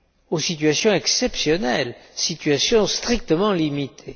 aux situations exceptionnelles, situations strictement limitées.